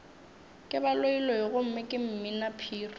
ke baloiloi gomme ke mminaphiri